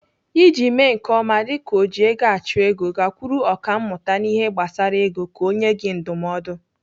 Iji mee nke ọma dịka ojiegoachụego, gakwuru ọkàmmụta n'ihe gbasara ego ka ọ nyee gị ndụmọdụ.